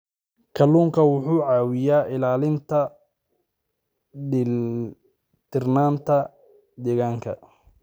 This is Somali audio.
Kalluunku wuxuu caawiyaa ilaalinta dheelitirnaanta deegaanka.